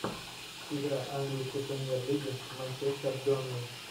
игра английской премьер лиги манчестер бернли